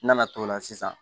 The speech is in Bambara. N nana t'o la sisan